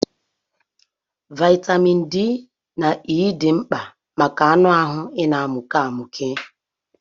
Vaịtamịn D na E dị mkpa maka anụ ahụ na-amụke amụke.